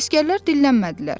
Əsgərlər dillənmədilər.